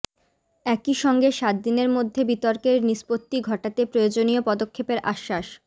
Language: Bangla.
একইসঙ্গে সাতদিনের মধ্যে বিতর্কের নিষ্পত্তি ঘটাতে প্রয়োজনীয় পদক্ষেপের আশ্বাস